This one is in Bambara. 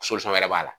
wɛrɛ b'a la